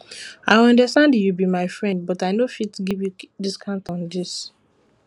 i understand you be my friend but i no fit give you discount on this one